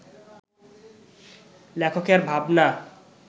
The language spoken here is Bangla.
লেখকের ভাবনা